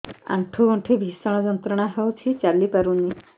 ଆଣ୍ଠୁ ଗଣ୍ଠି ଭିଷଣ ଯନ୍ତ୍ରଣା ହଉଛି ଚାଲି ପାରୁନି